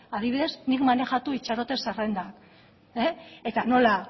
adibidez nik maneiatu itxaroten zerrendan eta nola